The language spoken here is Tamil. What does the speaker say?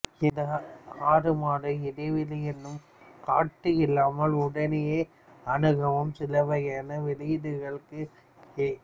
இந்த ஆறுமாத இடைவெளி என்னும் கட்டு இல்லாமல் உடனேயே அணுகவும் சில வகையான வெளியீடுகளுக்கும் எ